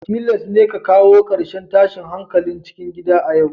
Tilas ne a kawo karshen tashin hankalin cikin gida a yau